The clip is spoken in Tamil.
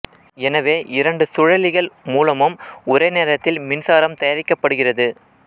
எனவே இரண்டு சுழலிகள் மூலமும் ஒரே நேரத்தில் மின்சாரம் தயாரிக்கப்படுகிறது